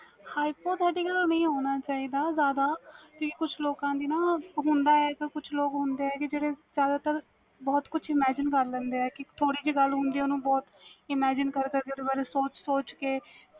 hypothetical ਨਹੀਂ ਹੋਣਾ ਚਾਹੀਦਾ ਜਾਂਦਾ ਕਈ ਕੁਛ ਲੋਕਾਂ ਦੀ ਹੁੰਦਾ ਵ ਕੁਛ ਲੋਕ ਹੁੰਦੇ ਵ ਕਿ ਜਿਹੜੇ ਸਾਰਾ ਸਾਰਾ ਬਹੁਤ ਕੁਝ imagine ਕਰ ਲੈਂਦੇ ਵ ਕਿ ਥੋੜੀ ਜੀ ਗੱਲ imagine ਓਹਨੂੰ ਕਰ ਕਰ ਓਹਦੇ ਬਾਰੇ ਸੋਚ ਸੋਚ ਕੇ